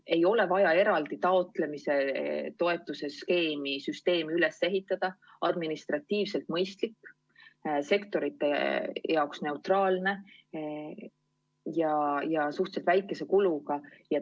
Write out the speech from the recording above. Ei ole vaja eraldi toetuse taotlemise süsteemi üles ehitada, kõik oleks administratiivselt mõistlik, sektorite seisukohalt neutraalne ja suhteliselt väikese kuluga.